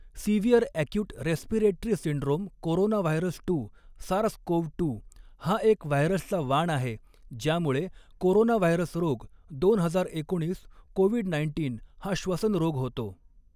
Severe acute respiratory syndrome coronavirus two SARS CoV two हा एक व्हायरसचा वाण आहे ज्यामुळे कोरोनाव्हायरस रोग दोन हजार एकोणीस कोविड नाईन्टीन हा श्वसन रोग होतो.